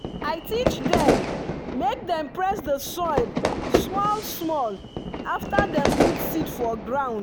i teach dem make dem press the soil small-small after dem put seed for ground.